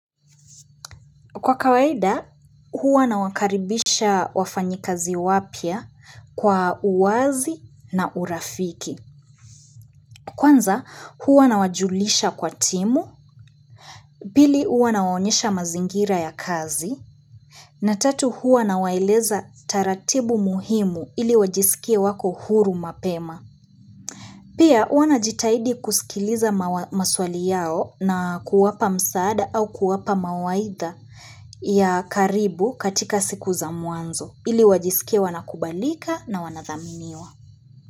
Kwa kawaida, huwa nawakaribisha wafanyi kazi wapya kwa uwazi na urafiki. Kwanza, huwa nawajulisha kwa timu, bili huwa nawaonyesha mazingira ya kazi, na tatu huwa na waeleza taratibu muhimu ili wajisikie wako huru mapema. Pia, huwa najitahidi kusikiliza maswali yao na kuwapa msaada au kuwapa mawaidha ya karibu katika siku za mwanzo. Ili wajisikie wanakubalika na wanathaminiwa.